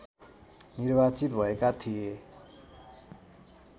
निर्वाचित भएका थिए